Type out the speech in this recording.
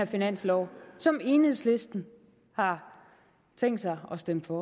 finanslov som enhedslisten har tænkt sig at stemme for